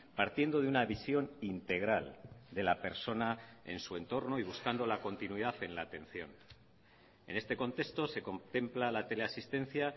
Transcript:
partiendo de una visión integral de la persona en su entorno y buscando la continuidad en la atención en este contexto se contempla la teleasistencia